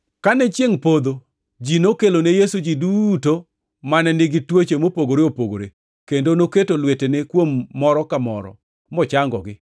Kane chiengʼ podho, ji nokelo ne Yesu ji duto mane nigi tuoche mopogore opogore, kendo noketo lwetene kuom moro ka moro, mochangogi.